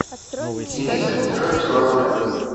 дениса петровича володина